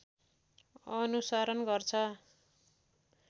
अनुसरण गर्छ